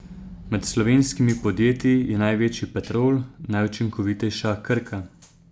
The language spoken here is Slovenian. Med slovenskimi podjetji je največji Petrol, najučinkovitejša Krka.